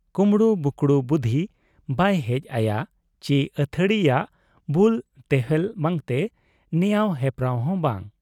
ᱠᱩᱢᱵᱽᱲᱩ ᱵᱩᱠᱲᱩ ᱵᱩᱫᱷᱤ ᱵᱟᱭ ᱦᱮᱡ ᱟᱭᱟ ᱪᱤ ᱟᱹᱛᱷᱟᱹᱣᱲᱤᱭᱟᱜ ᱵᱩᱞ ᱛᱚᱣᱮᱞ ᱵᱟᱝᱛᱮ ᱱᱮᱣᱟᱸᱣ ᱮᱯᱨᱟᱲ ᱦᱚᱸ ᱵᱟᱝ ᱾